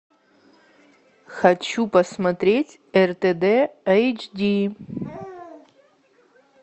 хочу посмотреть ртд эйч ди